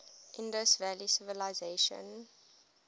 indus valley civilization